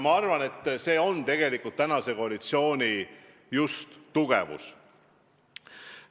Ma arvan, et see on tegelikult just tänase koalitsiooni tugevus.